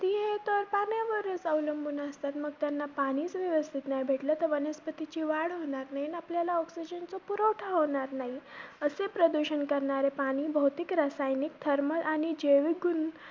वरचं अवलंबून असतात. मग त्यांना पाणीचं व्यवस्थित नाही भेटलं, तर वनस्पतीची वाढ होणार नाही आणि आपल्याला oxygen चा पुरवठा होणार नाही. असे प्रदूषण करणारे पाणी भौतिक, रासायनिक, thermal आणि रासायनिक जैविक